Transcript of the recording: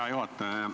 Hea juhataja!